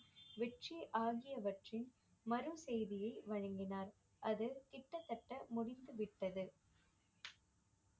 வெற்றி ஆகியவற்றின் மறு செய்தியை வழங்கினார் அது கிட்டத்தட்ட முடித்து விட்டது